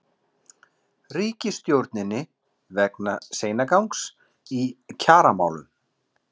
Ríkisstjórninni vegna seinagangs í kjaramálum?